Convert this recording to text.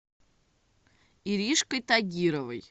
иришкой тагировой